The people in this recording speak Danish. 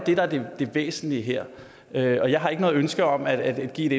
det væsentlige her her jeg har ikke noget ønske om at give et